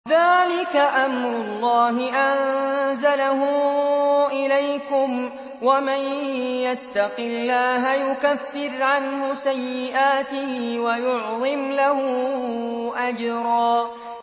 ذَٰلِكَ أَمْرُ اللَّهِ أَنزَلَهُ إِلَيْكُمْ ۚ وَمَن يَتَّقِ اللَّهَ يُكَفِّرْ عَنْهُ سَيِّئَاتِهِ وَيُعْظِمْ لَهُ أَجْرًا